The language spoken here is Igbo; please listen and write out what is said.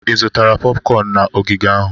Ị zụtara popcorn na ogige ahụ?